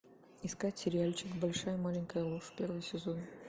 искать сериальчик большая маленькая ложь первый сезон